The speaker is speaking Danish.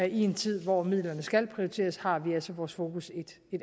i en tid hvor midlerne skal prioriteres har vi altså vores fokus et